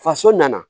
Faso nana